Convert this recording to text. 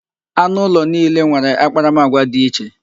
Anụ ulo niile nwere akparamagwa dị iche.